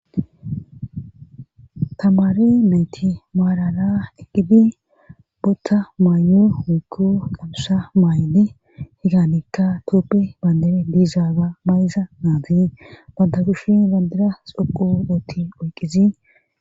tamari nayti maarala eqqidi bootta maayu wuykku qabsa maay7ni higanikka tooppi bandere diizaaga mayza naati badda kushi bandira xoquootti oyqqizi